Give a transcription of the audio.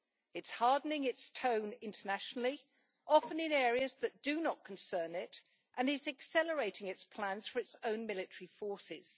It is hardening its tone internationally, often in areas that do not concern it, and is accelerating its plans for its own military forces.